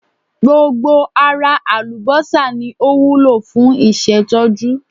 Gbogbo ara àlùbọ́sà ni o wúlò fún ìṣètọ́jú.